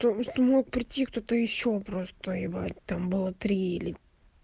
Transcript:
то что мог прийти кто-то ещё просто ебать там было три или